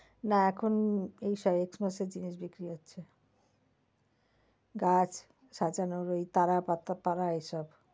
না এখন এই x mass এর জিনিস বিক্রি হচ্ছে। গাছ সাজানোর ওই তারা পাতা তারা এইসব।